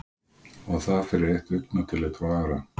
Og það fyrir eitt augnatillit frá Ara?